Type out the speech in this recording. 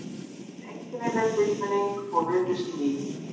Einkennileg tilfinning og virðist ný.